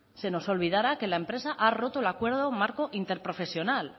se nos olvidara que la empresa ha roto el acuerdo marco interprofesional